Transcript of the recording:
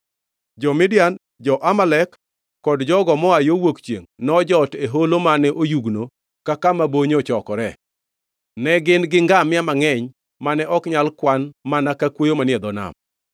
Jo-Midian, jo-Amalek kod jogo moa yo wuok chiengʼ nojot e holo mane oyugno ka kama bonyo ochokore. Ne gin gi ngamia mangʼeny mane ok nyal kwan mana ka kwoyo manie dho nam.